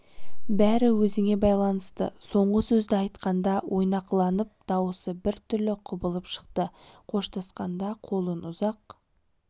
бәрі өзіңе байланысты соңғы сөзді айтқанда ойнақыланып дауысы бір түрлі құбылып шықты қоштасқанда қолын ұзақ